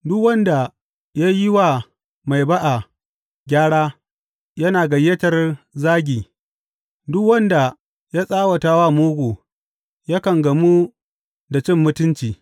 Duk wanda ya yi wa mai ba’a gyara yana gayyatar zagi duk wanda ya tsawata wa mugu yakan gamu da cin mutunci.